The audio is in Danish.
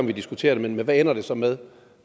vi diskuterer det men hvad ender det så med